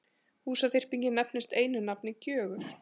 Húsaþyrpingin nefnist einu nafni Gjögur.